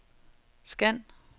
scan